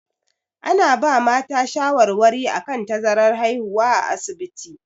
Ana ba mata shawarwari akan tazarar haihuwa a asibiti.